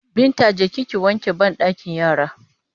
Binta je ki ki wanke banɗakin yara!